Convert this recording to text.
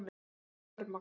Virðist alveg örmagna.